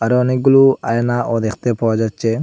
আরও অনেকগুলো আয়নাও দেখতে পাওয়া যাচ্ছে।